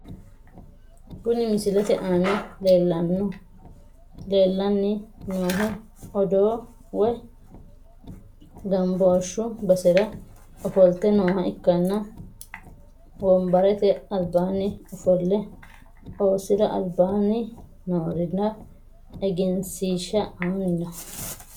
Kuni misilete aana leelani noohu odoo woyi ganbooshu basera ofolte nooha ikanna wonbarete albaani ofole osira albaani noorira egenshshiisha ani no.